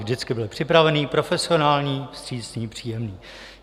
Vždycky byl připravený, profesionální, vstřícný, příjemný.